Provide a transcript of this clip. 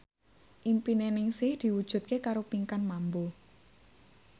impine Ningsih diwujudke karo Pinkan Mambo